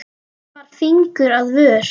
Hann bar fingur að vör.